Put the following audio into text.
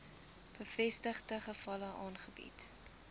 bevestigde gevalle aangebied